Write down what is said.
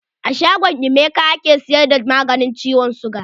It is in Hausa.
A shangon Emeka ake siyar da maganin ciwon siga.